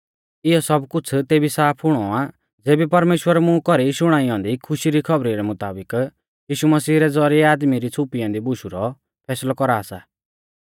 इयौ सब कुछ़ तेबी साफ हुणौ आ ज़ेबी परमेश्‍वर मुं कौरी शुणाई औन्दी खुशी री खौबरी रै मुताबिक यीशु मसीह रै ज़ौरिऐ आदमी री छ़ुपी ऐन्दी बुशु रौ फैसलौ कौरा सा